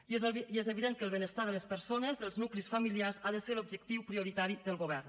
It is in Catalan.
i és evident que el benestar de les persones dels nuclis familiars ha de ser l’objectiu prioritari del govern